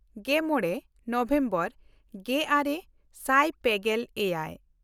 ᱜᱮᱢᱚᱬ November ᱜᱮᱼᱟᱨᱮ ᱥᱟᱭ ᱯᱮᱜᱮᱞ ᱮᱭᱟᱭ